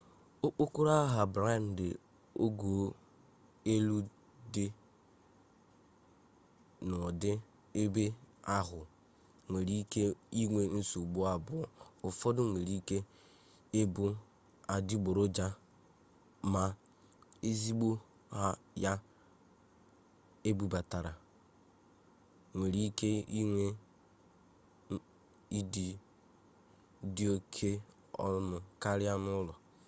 okpokolo aha-brandi ogo-elu dị dị n'ụdị ebe ahụ nwere ike inwe nsogbu abụọ ụfọdụ nwere ike ịbụ adịgboroja ma ezigbo ya ebubatara nwere ike inwe ịdị dị oke ọnụ karịa n'ụlọ